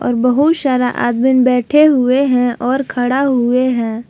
और बहुत सारा आदमी बैठे हुए हैं और खड़ा हुए हैं।